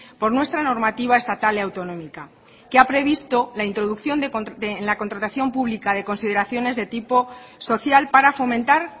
por nuestra normativa estatal y autonómica que ha previsto la introducción en la contratación pública de consideraciones de tipo social para fomentar